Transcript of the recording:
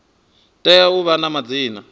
tea u vha na madzina